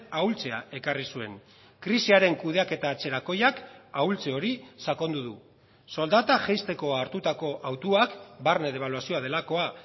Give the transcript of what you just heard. ahultzea ekarri zuen krisiaren kudeaketa atzerakoiak ahultze hori sakondu du soldata jaisteko hartutako hautuak barne debaluazioa delakoa